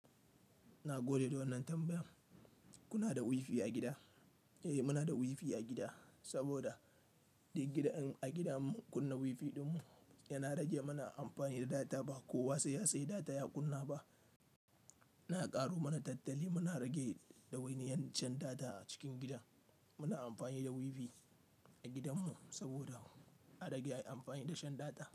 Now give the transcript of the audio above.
Na gode da wannan tambayan. Kuna da WiFi a gida? Eh muna da WiFi a gida, saboda a gidan in muka kunna WiFi ɗin mu yana rage mana amfani da data. Ba kowa sai ya sayi data ya kunna ba. Yana ƙaro mana tattali muna rage dawainiyar shan data a cikin gida. Muna amfani da WiFi a gidanmu saboda a rage yin amfani da shan data.